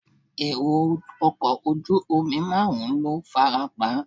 Èrò ọkọ̀ ojú omi márùn-ún ló farapa.